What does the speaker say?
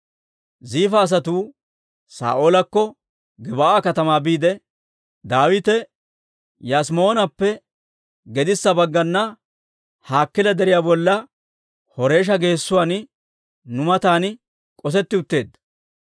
Ziifa asatuu Saa'oolakko Gib'aa katamaa biide, «Daawite Yasemoonappe gedissa baggana Hakiila Deriyaa bolla Horeesha geesuwaan nu matan k'osetti utteedda.